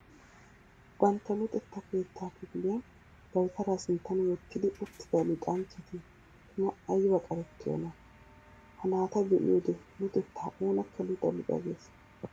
Bantta luxetta keetta kifiliyan dawutara sinttan wottidi uttida luxanchchati tuma ayba qarettiyona! Ha naata be'iyoode luxetta oonakka luxa luxa gees.